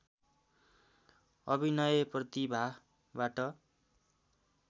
अभिनय प्रतिभाबाट